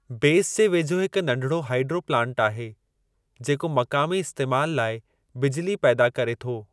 बेसि जे वेझो हिकु नढिड़ो हाईड्रो प्लांट आहे जेको मक़ामी इस्तेमाल लाइ बिजिली पैदा करे थो।